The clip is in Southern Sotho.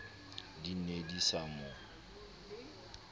di ne di sa mo